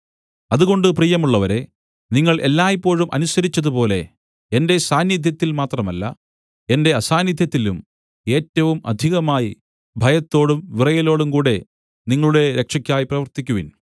അതുകൊണ്ട് പ്രിയമുള്ളവരേ നിങ്ങൾ എല്ലായ്പോഴും അനുസരിച്ചതുപോലെ എന്റെ സാന്നിദ്ധ്യത്തിൽ മാത്രമല്ല എന്റെ അസാന്നിദ്ധ്യത്തിലും ഏറ്റവും അധികമായി ഭയത്തോടും വിറയലോടുംകൂടെ നിങ്ങളുടെ രക്ഷക്കായി പ്രവർത്തിക്കുവിൻ